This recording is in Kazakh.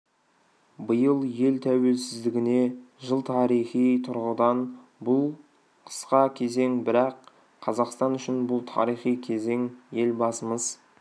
биыл ел тәуелсіздігіне жыл тарихи тұрғыдан бұл қысқа кезең бірақ қазақстан үшін бұл тарихи кезең елбасымыз